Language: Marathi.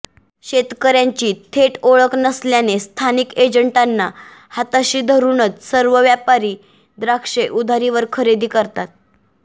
शेतकर्यांची थेट ओळख नसल्याने स्थानिक एजंटांना हाताशी धरुनच सर्व व्यापारी द्राक्षे उधारीवर खरेदी करतात